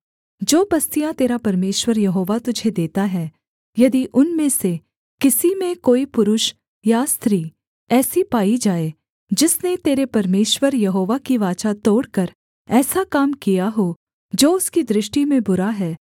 जो बस्तियाँ तेरा परमेश्वर यहोवा तुझे देता है यदि उनमें से किसी में कोई पुरुष या स्त्री ऐसी पाई जाए जिसने तेरे परमेश्वर यहोवा की वाचा तोड़कर ऐसा काम किया हो जो उसकी दृष्टि में बुरा है